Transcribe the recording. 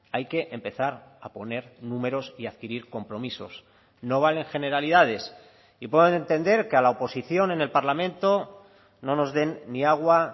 hay que empezar a poner números y a adquirir compromisos no valen generalidades y puedo entender que a la oposición en el parlamento no nos den ni agua